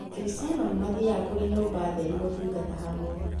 Akristiano nĩmathiaga kũrĩ nyũmba theru gũtungata hamwe